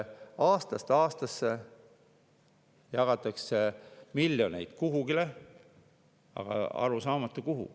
Aastast aastasse jagatakse miljoneid kuhugi, aga on arusaamatu, kuhu.